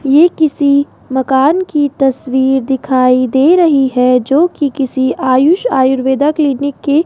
ये किसी मकान की तस्वीर दिखाई दे रही है जोकि किसी आयुष आयुर्वेदा क्लिनिक की --